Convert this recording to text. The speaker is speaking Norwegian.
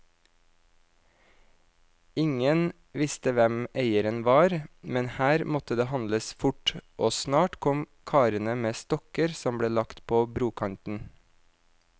Ingen visste hvem eieren var, men her måtte det handles fort, og snart kom karene med stokker som ble lagt på brokanten.